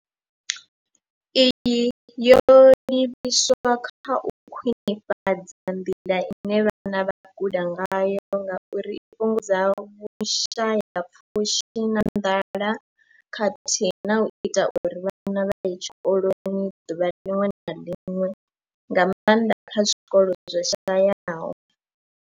Iyi yo livhiswa kha u khwinifhadza nḓila ine vhana vha guda ngayo ngauri i fhungudza vhushayapfushi na nḓala khathihi na u ita uri vhana vha ye tshikoloni ḓuvha ḽiṅwe na ḽiṅwe, nga maanḓa kha zwikolo zwo shayaho.